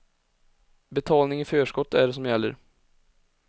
Betalning i förskott är det som gäller.